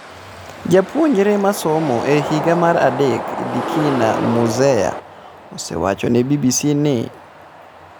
Japuonjre ma somo e higa mar adek Dikina Muzeya osewacho ne BBC ni.